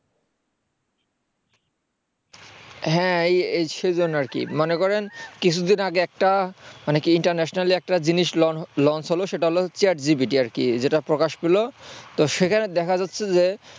হ্যাঁ এই সেই জন্য আরকি মনে করেন কিছুদিন আগে একটা মানে কি internationally একটা জিনিস launch হলো সেটা হলো chat GPT আর কি যেটা প্রকাশ পেল তো সেখানে দেখা যাচ্ছে যে